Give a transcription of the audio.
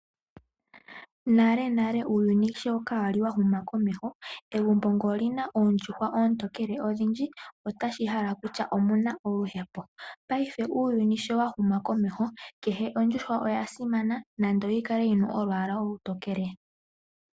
Nalenale uuyuni sho kaa wali wa huma komeho egumbo ngele olina oondjuhwa oontokele odhindji otashi hala kutya omuna oluhepo. Ngaashingeyi uuyuni sho wa huma komeho kehe ondjuhwa oya simana nando oyi kale yina olwaala olutokele.